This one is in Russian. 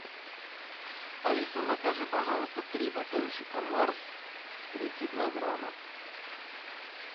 алиса закажи пожалуйста три батончика марс тридцать два грамма